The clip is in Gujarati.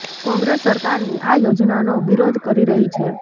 કોંગ્રેસ સરકારની આ યોજનાનો વિરોધ કરી રહી છે